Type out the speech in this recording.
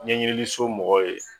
Ɲɛɲninliso mɔgɔ ye